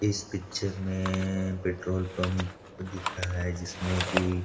इस पिक्चर में petrol pump दिख रहा रहा है जिसमे की --